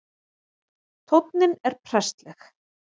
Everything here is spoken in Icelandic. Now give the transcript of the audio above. Tónninn er prestleg